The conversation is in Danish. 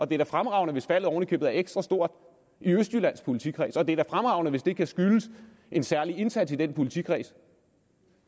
det er fremragende hvis faldet oven i købet er ekstra stort i østjyllands politikreds og det er da fremragende hvis det kan skyldes en særlig indsats i den politikreds